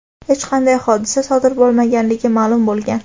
hech qanday hodisa sodir bo‘lmaganligi ma’lum bo‘lgan.